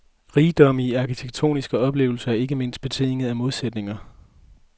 Rigdommen i arkitektoniske oplevelser er ikke mindst betinget af modsætninger.